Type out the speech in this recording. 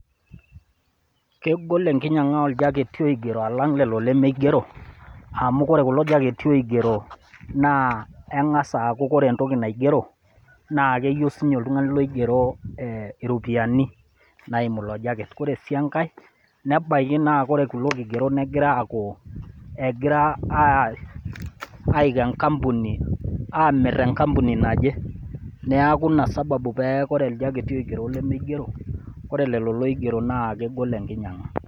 Kegol enkinyang'a oljaketi oigero alang lelo lemeigero amu ore kulo jaketi oigero naa eng'as aaku ore entoki naigero naa keyeu sii ninye oltung'ani oigero iropiani naimu ilo jaket. Ore sii enkai nebaiki naa ore kulo kigerot negira aiko, egira aiko enkampuni aamirr enkampuni naje. Neaku ina sababu ore jaketi oigero olemeigero, ore lelo oigero naa kegol enkinyang'a.